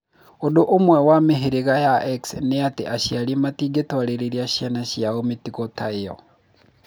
Ũndũ ũmwe wa mĩhĩrĩga ya X ni atĩ aciari matingĩtwarĩra ciana ciao mĩtugo ta ĩyo.